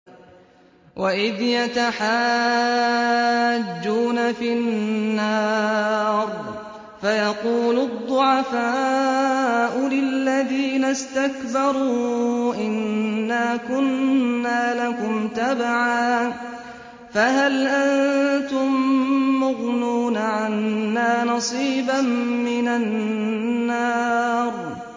وَإِذْ يَتَحَاجُّونَ فِي النَّارِ فَيَقُولُ الضُّعَفَاءُ لِلَّذِينَ اسْتَكْبَرُوا إِنَّا كُنَّا لَكُمْ تَبَعًا فَهَلْ أَنتُم مُّغْنُونَ عَنَّا نَصِيبًا مِّنَ النَّارِ